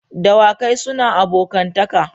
Dawakai suna abokantaka.